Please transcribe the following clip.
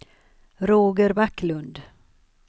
Roger Backlund